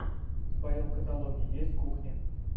в твоем каталоге есть кухня